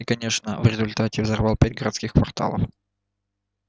и конечно в результате взорвал пять городских кварталов